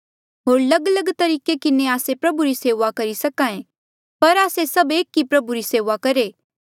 होर लगलग तरीके किन्हें आस्से प्रभु री सेऊआ करी सके पर आस्से सभ एक ही प्रभु री सेऊआ करहे